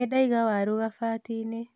Nĩndaiga waru kabati-inĩ